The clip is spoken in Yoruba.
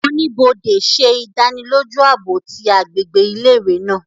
Onibode ṣe idaniloju aabo ti agbegbe ile-iwe naa